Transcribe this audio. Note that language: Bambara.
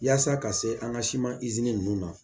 Yaasa ka se an ka siman izini ninnu na